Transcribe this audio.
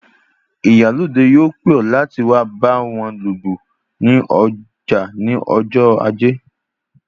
Ìyálóde yóò pè ọ láti wá báwo lu ìlù ní ọjà ní ọjọ ajé